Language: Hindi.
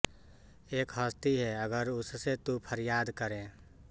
एक हस्ती है अगर उससे तू फरियाद करे